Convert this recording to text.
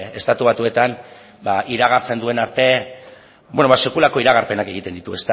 estatu batuetan iragartzen duen arte sekulako iragarpenak egiten ditu